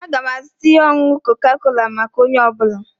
Aga m azụta ihe ọṅụṅụ koka-kola maka onye ọ bụla